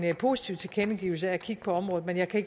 positiv tilkendegivelse om at kigge på området men jeg kan